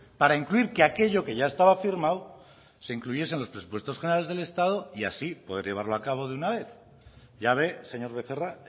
para incluir que aquello que ya estaba firmado se incluyese en los presupuestos generales del estado y así poder llevarlo a cabo de una vez ya ve señor becerra